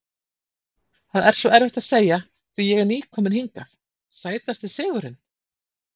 Það er svo erfitt að segja því ég er ný kominn hingað Sætasti sigurinn?